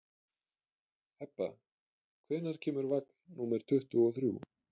Hebba, hvenær kemur vagn númer tuttugu og þrjú?